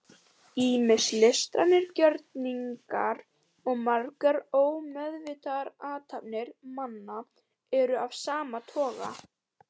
ýmsir listrænir gjörningar og margar ómeðvitaðar athafnir manna eru af sama toga